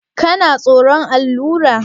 Kana tsoron allura?